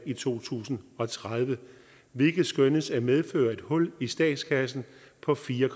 i to tusind og tredive hvilket skønnes at medføre et hul i statskassen på fire